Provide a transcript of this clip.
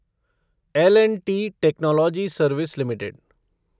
L and T Technology Service limited